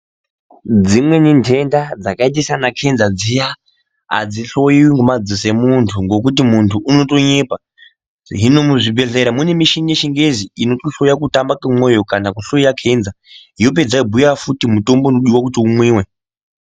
Dzimweni ntenda dzakaita saana Kenza dziya adzihloyiwi ngemadziso emunthu ngekuti munthu unotonyepa hino muzvibhedhlera mune mishini yechingezi inotohloya kutamba kwemwoyo kana kuhloya Kenza yopedza yobhuya futi mutombo unodiwa kuti umwiwe.